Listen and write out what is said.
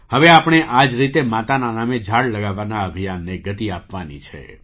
હવે આપણે આ જ રીતે માતાના નામે ઝાડ લગાવવાના અભિયાનને ગતિ આપવાની છે